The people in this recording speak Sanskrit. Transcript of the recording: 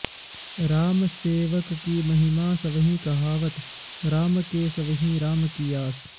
रामसेवककी महिमा सबइ कहावत राम के सबहि राम की आस